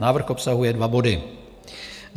Návrh obsahuje dva body.